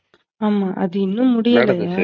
ஆமா அது இன்னோம் முடியலையா?